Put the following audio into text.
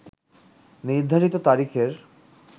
নির্ধারিত তারিখের